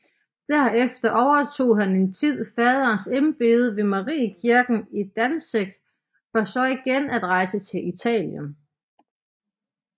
Derefter overtog han en tid faderens embede ved Mariekirken i Danzig for så igen at rejse til Italien